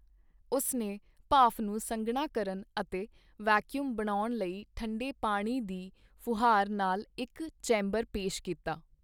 ਉਸ ਨੇ ਭਾਫ਼ ਨੂੰ ਸੰਘਣਾ ਕਰਨ ਅਤੇ ਵੈਕਯੂਮ ਬਣਾਉਣ ਲਈ ਠੰਢੇ ਪਾਣੀ ਦੀ ਫੁਹਾਰ ਨਾਲ ਇਕ ਚੈਂਬਰ ਪੇਸ਼ ਕੀਤਾ।